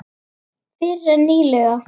Fyrr en nýlega.